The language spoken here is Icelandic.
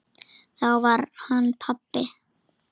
Þá var hann pabbi.